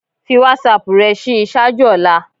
Fi WhatsApp rẹ ṣii ṣaaju ọla